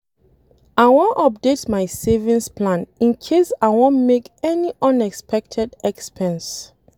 I wan update my savings plan in case I wan make any unexpected expense